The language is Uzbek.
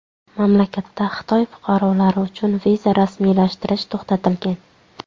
Mamlakatda Xitoy fuqarolari uchun viza rasmiylashtirish to‘xtatilgan.